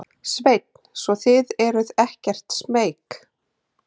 Sveinn: Svo þið eruð ekkert smeyk?